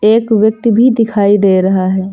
एक व्यक्ति भी दिखाई दे रहा है।